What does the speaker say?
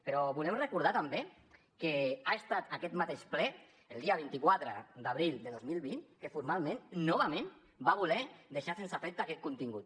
però volem recordar també que ha estat aquest mateix ple el dia vint quatre d’abril del dos mil vint que formalment novament va voler deixar sense efecte aquest contingut